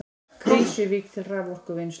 Krýsuvík til raforkuvinnslu.